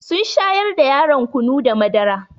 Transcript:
Sun shayar da yaron kunu da madara.